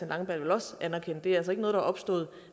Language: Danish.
langballe vel også anerkende det er altså ikke noget opstået